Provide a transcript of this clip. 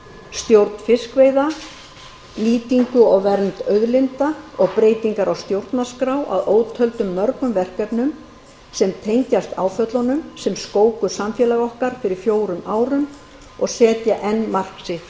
stjórn fiskveiða nýtingu og vernd auðlinda og breytingar á stjórnarskrá að ótöldum mörgum verkefnum sem tengjast áföllunum sem skóku samfélag okkar fyrir fjórum árum og setja enn mark sitt